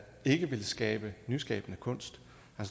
ikke vil skabe nyskabende kunst